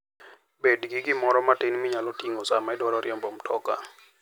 Bed gi gimoro matin minyalo ting'o sama idwaro riembo mtoka.